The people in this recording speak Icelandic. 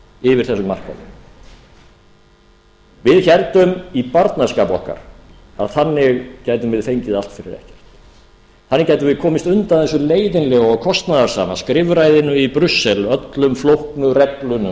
yfir þessum markaði við héldum í barnaskap okkar að þannig gætum við fengið allt fyrir ekkert þannig gætum við komist undan þessu leiðinlega og kostnaðarsama skrifræðinu i brussel öllum flóknu reglunum